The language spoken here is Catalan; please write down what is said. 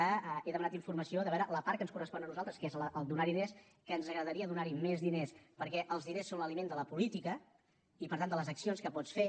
n’he demanat informació de veure la part que ens correspon a nosaltres que és donar diners que ens agradaria donar hi més diners perquè els diners són l’aliment de la política i per tant de les accions que pots fer